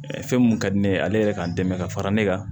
Fɛn mun ka di ne ye ale yɛrɛ k'an dɛmɛ ka fara ne kan